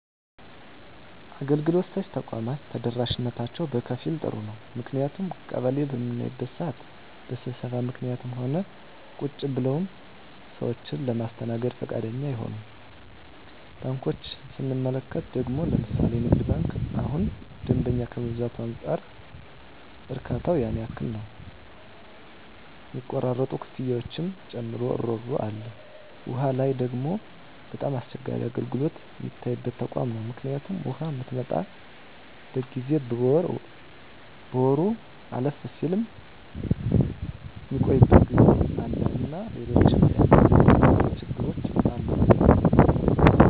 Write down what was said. አገልግሎት ሰጭ ተቋማት ተደራሽነታቸው በከፊል ጥሩ ነው ምክንያቱም ቀበሌ በምናይበት ስዓት በስብሰባ ምክኒትም ሆነ ቁጭ ብለውም ሰዎችን ለማስተናገድ ብዙ ፈቃደኛ አይሆኑም። ባንኮችን ስንመለከት ደግሞ ለምሣሌ ንግድ ባንክ እሁን ደንበኛ ከመብዛቱ አንፃር እርካታው ያን ያህል ነው ሚቆራረጡ ክፍያዎችን ጨምሮ እሮሮ አለ። ዉሃ ላይ ደግሞ በጣም አስቸጋሪ አገልግሎት ሚታይበት ተቋም ነው ምክኒቱም ውሃ ምትመጣበት ጊዜ በየወሩ አለፍም ስል ሚቆይበት ጊዜ አለና ሎሎችም የአገልግሎት ተቋማት ችግሮች አሉ።